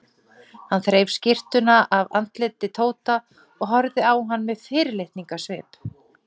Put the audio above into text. Hann þreif skyrtuna af andliti Tóta og horfði á hann með fyrirlitningarsvip.